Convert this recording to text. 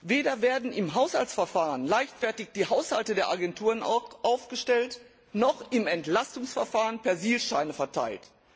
Weder werden im Haushaltsverfahren leichtfertig die Haushalte der Agenturen aufgestellt, noch im Entlastungsverfahren Persilscheine verteilt.